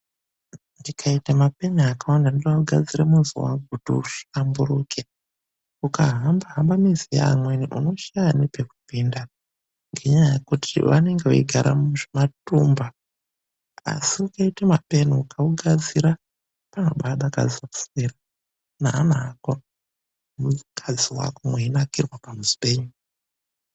Tikaita mapeni akawanda ndoda kugadzira muzi wangu kuti uhlamburuke. Ukahamba-hamba mizi yeamweni unoshaya nepekupinda ngenyaya yekuti vanenge veigara muzvimatumba. Asi ukaite mapeni ugaugadzira panobadakadze kuswera neana ako, nemukadzi wako meinakirwa pamuzi penyu.